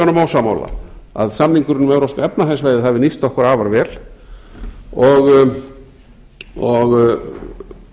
honum ósammála að samningurinn um evrópska efnahagssvæðið hafi nýst okkur afar vel og